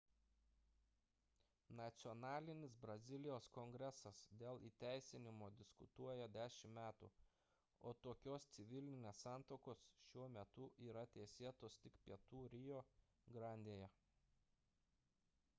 nacionalinis brazilijos kongresas dėl įteisinimo diskutuoja 10 metų o tokios civilinės santuokos šiuo metu yra teisėtos tik pietų rio grandėje